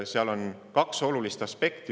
Seal on kaks olulist aspekti.